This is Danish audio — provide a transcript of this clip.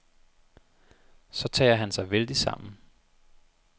Så tager han sig vældigt sammen.